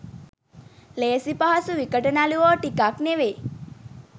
ලේසි පහසු විකට නළුවො ටිකක් නෙවෙයි.